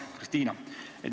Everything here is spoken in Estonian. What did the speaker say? Hea Kristina!